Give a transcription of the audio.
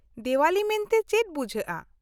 -ᱫᱮᱣᱟᱞᱤ ᱢᱮᱱᱛᱮ ᱪᱮᱫ ᱵᱩᱡᱷᱟᱹᱜᱼᱟ ?